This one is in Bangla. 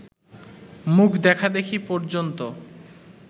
মুখ দেখাদেখি পর্যন্ত